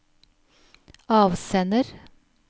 avsender